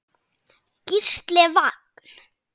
Gísli Vagn.